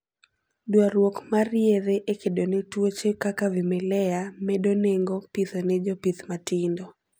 Dwarruok mar yedhe e kedone tuoche kaka vimelea medo nengo pitho ne jopith matindo